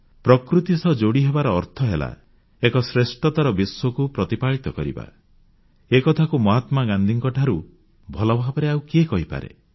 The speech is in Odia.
ପ୍ରକୃତି ସହିତ ଯୋଡ଼ିହେବାର ଅର୍ଥ ହେଲା ଏକ ଶ୍ରେଷ୍ଠତର ବିଶ୍ୱକୁ ପ୍ରତିପାଳିତ କରିବା ଏକଥାକୁ ମହାତ୍ମାଗାନ୍ଧୀଙ୍କଠାରୁ ଭଲଭାବରେ ଆଉ କିଏ କହିପାରେ